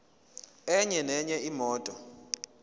enye nenye imoto